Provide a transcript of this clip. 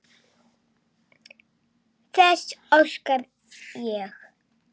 Þess óska ég.